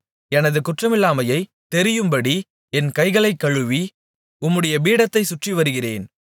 எனது குற்றமில்லாமை தெரியும்படி என் கைகளைக் கழுவி உம்முடைய பீடத்தைச் சுற்றிவருகிறேன்